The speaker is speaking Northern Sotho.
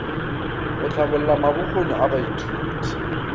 go hlabolla mabokgoni a baithuti